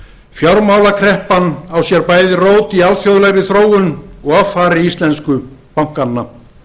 fjármálakreppan á sér bæði rót í alþjóðlegri þróun og offari íslensku bankanna